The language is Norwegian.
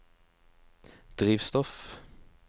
drivstoff